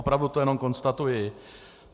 Opravdu to jenom konstatuji.